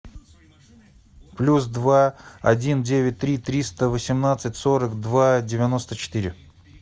плюс два один девять три триста восемнадцать сорок два девяносто четыре